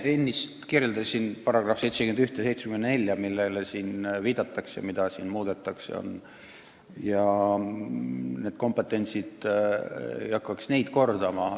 Ma enne nimetasin paragrahve 71 ja 74, mida nüüd muuta soovitakse, seal on need ülesanded kirjas ja ma ei hakkaks neid kordama.